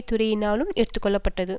துறையினாலும் எடுத்து கொள்ள பட்டது